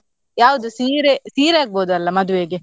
ಯಾವ್ದು ಸೀರೆ, ಸೀರೆ ಆಗ್ಬೋದಲ್ಲ ಮದ್ವೆಗೆ?